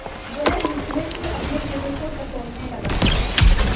वह विस्मय से अपने हृदय को टटोलने लगा